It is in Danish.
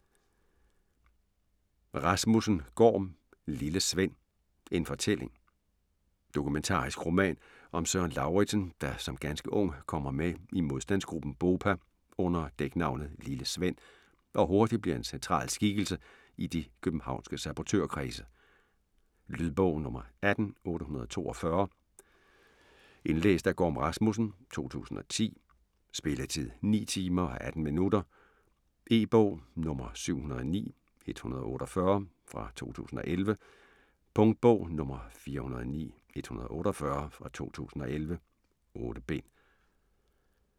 Rasmussen, Gorm: Lille Sven: en fortælling Dokumentarisk roman om Søren Lauritzen der som ganske ung kommer med i modstandsgruppen BOPA under dæknavnet Lille Sven og hurtigt bliver en central skikkelse i de københavnske sabotørkredse. Lydbog 18842 Indlæst af Gorm Rasmussen, 2010. Spilletid: 9 timer, 18 minutter. E-bog 709148 2011. Punktbog 409148 2011. 8 bind.